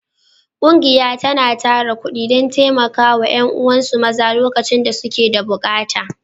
Ƙungiya tana tara kuɗi don taimaka wa ’yan’uwansu maza lokacin da suke da bukata.